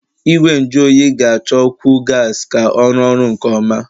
Igwe nju oyi ga-achọkwu gas ka ọ rụọ ọrụ nke ọma.